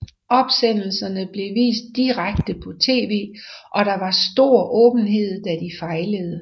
Opsendelserne blev vist direkte på tv og der var stor åbenhed da de fejlede